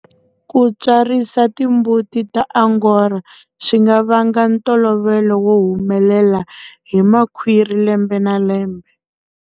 Ku tswarisa timbuti ta Angora swi nga vanga ntolovelo wo humela hi makhwiri lembe na lembe.